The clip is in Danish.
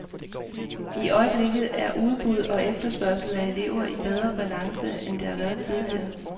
I øjeblikket er udbud og efterspørgsel af elever i bedre balance, end det har været tidligere.